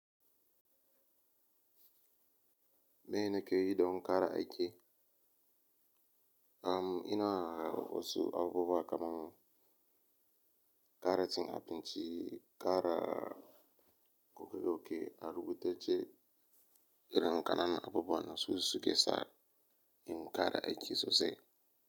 Mai nake yi don ƙara aiki, am ina r wasu abubuwa kaman ƙara cin abinci, ƙara goge goge, arubutac ce irin kananan abubuwan nan su su ske sani. In ƙara aiki sosai.